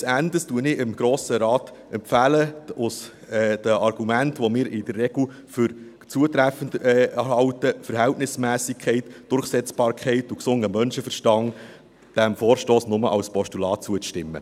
Letzten Endes empfehle ich dem Grossen Rat aufgrund der Argumente, die wir in der Regel für zutreffend halten – Verhältnismässigkeit, Durchsetzbarkeit und gesunder Menschenverstand –, diesem Vorstoss nur als Postulat zuzustimmen.